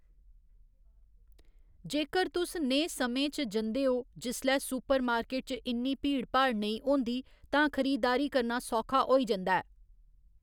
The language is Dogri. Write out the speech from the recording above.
जेकर तुस नेह् समें च जंदे ओ जिसलै सुपरमार्केट च इन्नी भीड़ भाड़ नेईं होंदी तां खरीदारी करना सौखा होई जंदा ऐ।